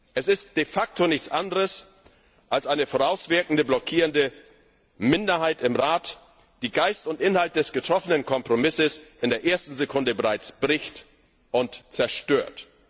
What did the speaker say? Es ist de facto nichts anderes als eine vorauswirkende blockierende Minderheit im Rat, die Geist und Inhalt des getroffenen Kompromisses bereits in der ersten Sekunde bricht und zerstört.